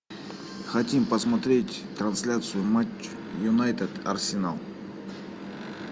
хотим посмотреть трансляцию матча юнайтед арсенал